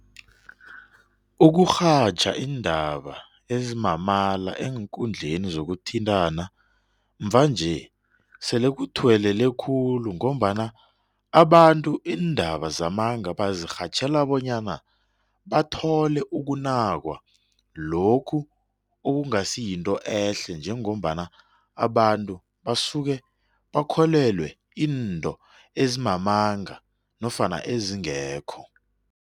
Ukurhatjha iindaba ezimamala eenkundleni sokuthintana mvanje sele kuthuwelele khulu ngombana abantu iindaba zamanga bazirhatjhela bonyana bathole ukunakwa lokhu okungasi yinto ehle njengombana abantu basuke bakholelwe into ezimamanga nofana ezingekho.